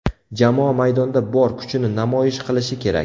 Jamoa maydonda bor kuchini namoyish qilishi kerak.